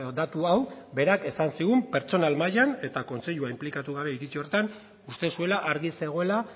datu hau berak esan zigun pertsonal mailan eta kontseilua inplikatu gabe iritzi horretan uste zuela argi zegoela